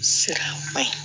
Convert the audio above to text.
Sira man ɲi